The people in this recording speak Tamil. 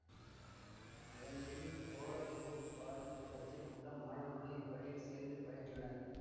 அதன்பின் கோல குபு பாரு தோட்டத்தில் உள்ள மாணவர்களும் இப்பள்ளியில் சேர்ந்து பயின்றனர்